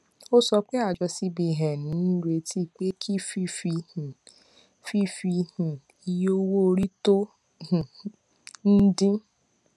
ó sọ pé àjọ cbn ń retí pé kí fífi um fífi um iye owó orí tó um ń dín